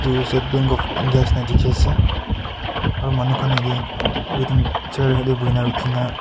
aru state bank of india neshina dekhi ase aru manu khan yate waiting chair khan tae bhuina rukhina.